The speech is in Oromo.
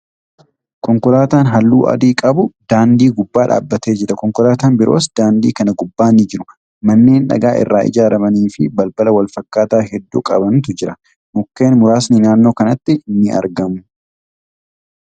Konkolaatan haalluu adii qabu daandii gubbaa dhaabbatee jira. Konkolaatan biroos daandii kana gubbaa ni jiru. Manneen dhagaa irraa ijaaramanii fi balbala wal fakkaataa hedduu qabanitu jiru. Mukkeen muraasni naannoo kanatti ni argamu.